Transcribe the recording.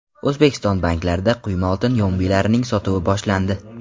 O‘zbekiston banklarida quyma oltin yombilarining sotuvi boshlandi.